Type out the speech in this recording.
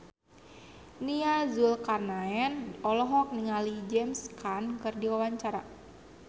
Nia Zulkarnaen olohok ningali James Caan keur diwawancara